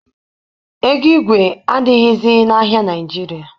Ego igwe adịghịzi n'ahịa Naịjirịa.